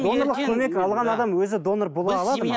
донорлық көмек алған адам өзі донор бола алады ма